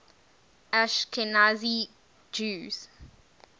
ashkenazi jews